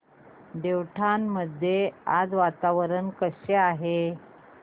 देवठाण मध्ये आज वातावरण कसे आहे